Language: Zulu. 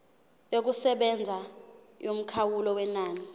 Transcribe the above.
yokusebenza yomkhawulo wenani